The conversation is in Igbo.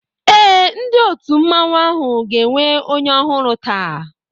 Eé, ndị òtù mmanwu áhù ga-enwe onye ọhụrụ taa